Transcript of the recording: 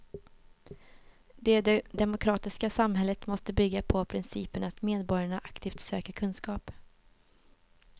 Det demokratiska samhället måste bygga på principen att medborgarna aktivt söker kunskap.